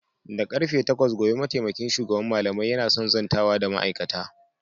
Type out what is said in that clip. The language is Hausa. Da karfe takwas gobe mataimakin shugaban malamai yana son zantawa da ma'aikata.